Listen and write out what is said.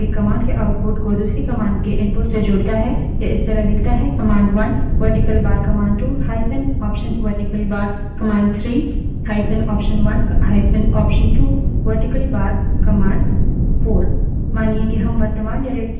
यह इस तरह दिखता है